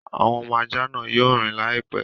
Àwọn ọmọ ajá náà yóò rìn láìpẹ́.